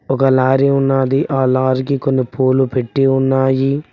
ఒక లారీ ఉన్నది ఆ లారీకి కొన్ని పూలు పెట్టి ఉన్నాయి.